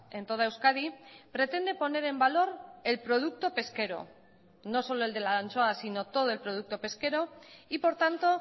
en toda euskadi pretende poner en valor el producto pesquero no solo el de la anchoa sino todo el producto pesquero y por tanto